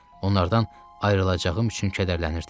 Onlardan ayrılacağım üçün kədərlənirdim.